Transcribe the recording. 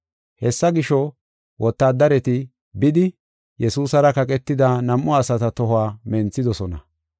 Hessa gisho, wotaadareti bidi, Yesuusara kaqetida nam7u asata tohuwa menthidosona.